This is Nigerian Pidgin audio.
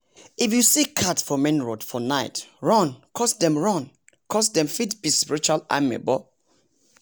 if you see cat for main road for night run coz dem run coz dem fit be spiritual amebor